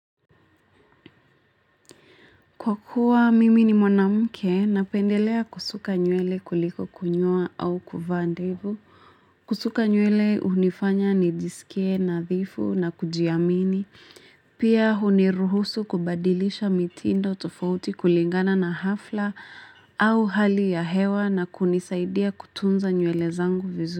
Kwa kuwa mimi ni mwanamke napendelea kusuka nywele kuliko kunyoa au kuvaa ndevu. Kusuka nywele hunifanya nijisikie nadhifu na kujiamini. Pia huniruhusu kubadilisha mitindo tofauti kulingana na hafla au hali ya hewa na kunisaidia kutunza nywele zangu vizuri.